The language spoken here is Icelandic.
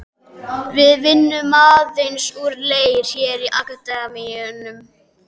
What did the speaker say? Við vinnum aðeins úr leir hér í Akademíunni.